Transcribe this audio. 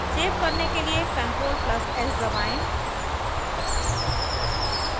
save करने के लिए ctrl + s दबाएं